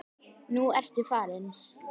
Nú ertu farinn.